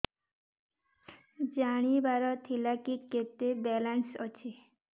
ଜାଣିବାର ଥିଲା କି କେତେ ବାଲାନ୍ସ ଅଛି